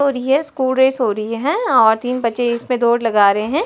और ये school race हो रही हैं और तीन बच्चे इसमें दौड़ लगा रे हैं